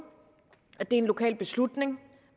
at det er en lokal beslutning